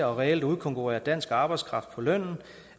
og reelt udkonkurrerer dansk arbejdskraft på lønnen